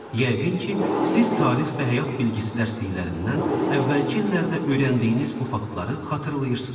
Yəqin ki, siz tarix və həyat bilgisi dərsliklərindən əvvəlki illərdə öyrəndiyiniz bu faktları xatırlayırsınız.